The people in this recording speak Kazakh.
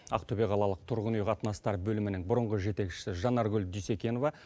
ақтөбе қалалық тұрғын үй қатынастары бөлімінің бұрынғы жетекшісі жанаргүл дүйсекенова